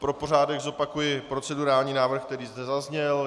Pro pořádek zopakuji procedurální návrh, který zde zazněl.